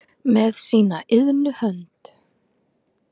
með sína iðnu hönd